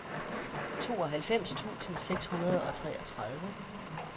tooghalvfems tusind seks hundrede og treogtredive